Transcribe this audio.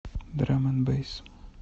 драм энд бэйс